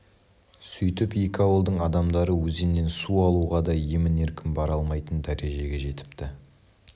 сөйтіп екі ауылдың адамдары өзеннен су алуға да емін-еркін бара алмайтын дәрежеге жетіпті